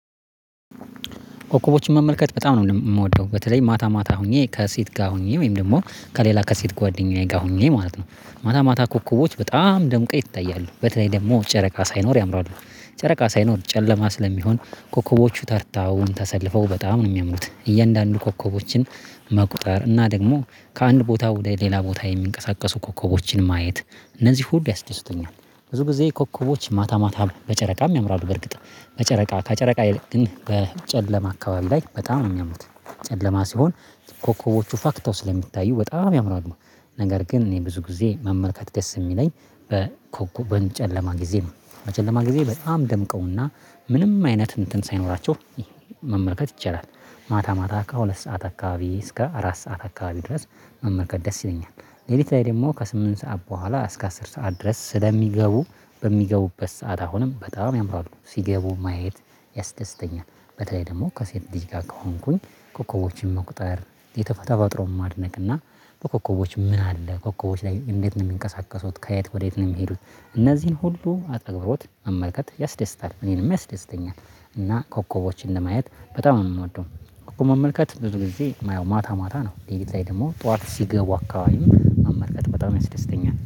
ኮከቦችን መመልከት በጣም ነው የምወደው በተለይ ማታ ማታ ሆኜ ከሴት ጋር ሆኜ ወይም ደግሞ ከሌላ ከሴት ጓደኛዬ ጋር ሆኜ ማለት ነው። ማታ ማታ ኮከቦች በጣም ደምቀው ይታያሉ በተለይ ደግሞ ጨረቃ ሳይኖር ያምራሉ። ጨረቃ ሳይኖር ጨለማ ስለሚሆን ኮከቦቹ ተርታውን ተሰልፈው በጣም ነው የሚያምሩት። እያንዳንዱ ኮከቦችን መቁጠር እና ደግሞ ከአንድ ቦታ ወደ ሌላ ቦታ የሚንቀሳቀሱ ኮከቦችን ማየት። እነዚህ ሁሉ ያስደስቱኛል። ብዙ ጊዜ ኮከቦች ማታ ማታ በጨረቃም ያምራሉ በእርግጥ። በጨረቃ ከጨረቃ ይልቅ ግን በጨለማ አካባቢ ላይ በጣም የሚያምሩት። ጨለማ ሲሆን ኮከቦቹ ፋክታው ስለሚታዩ በጣም ያምራሉ። ነገር ግን እኔ ብዙ ጊዜ መመልከት ደስ የሚለኝ። በጨለማ ጊዜ ነው። በጨለማ ጊዜ በጣም ደምቀውና ምንም አይነት እንትን ሳይኖራቸው መመልከት ይቻላል። ማታ ማታ ከሁለት ሰዓት አካባቢ እስከ አራት ሰዓት አካባቢ ድረስ መመልከት ደስ ይለኛል። ሌሊት ላይ ደግሞ ከስምንት ሰዓት በኋላ እስከ አስር ሰዓት ድረስ ስለሚገቡ። በሚገቡበት ሰዓት አሁንም በጣም ያምራሉ ሲገቡ ማየት ያስደስተኛል። በተለይ ደግሞ ከሴት ልጅ ጋር ከሆንኩኝ ኮከቦችን መቁጠር ተፈጥሮን ማድነቅና በኮከቦች ምን አለ ኮከቦች ላይ እንዴት ነው የሚንቀሳቀሱት? ከየት ወዴት ነው የሚሄዱት? እነዚህን ሁሉ በአትኩሮት መመልከት ያስደስታል እኔንም ያስደስተኛል። እና ኮከቦችን ለማየት በጣም ነው የምወደው። ኮከብ መመልከት ብዙ ጊዜ የማየው ማታ ማታ ነው። ሌሊት ላይ ደግሞ ጠዋት ሲገቡ አካባቢም መመልከት በጣም ያስደስተኛል